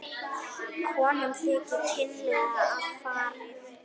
Konum þykir kynlega að farið.